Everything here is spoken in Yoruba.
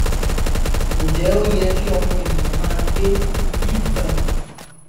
njẹ ó yẹ kí ọmọ ènìyàn máa gbé irú ìlú báyìí